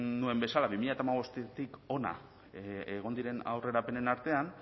nuen bezala bi mila hamabostetik hona egon diren aurrerapenen artean